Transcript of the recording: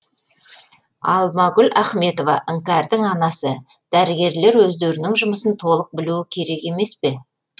алмагүл ахметова іңкәрдің анасы дәрігерлер өздерінің жұмысын толық білуі керек емес пе